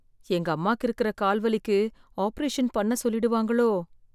எங்க அம்மாக்கு இருக்குற கால் வலிக்கு ஆப்ரேஷன் பண்ண சொல்லிடுவாங்களோ